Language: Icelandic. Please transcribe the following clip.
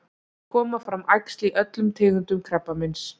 koma fram æxli í öllum tegundum krabbameins